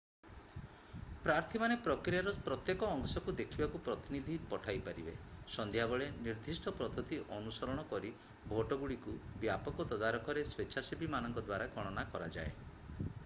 ପ୍ରାର୍ଥୀମାନେ ପ୍ରକ୍ରିୟାର ପ୍ରତ୍ୟେକ ଅଂଶକୁ ଦେଖିବାକୁ ପ୍ରତିନିଧି ପଠାଇ ପାରିବେ ସନ୍ଧ୍ୟା ବେଳେ ନିର୍ଦ୍ଦିଷ୍ଟ ପଦ୍ଧତି ଅନୁସରଣ କରି ଭୋଟଗୁଡ଼ିକୁ ବ୍ୟାପକ ତଦାରଖରେ ସ୍ଵେଚ୍ଛାସେବୀମାନଙ୍କ ଦ୍ଵାରା ଗଣନା କରାଯାଏ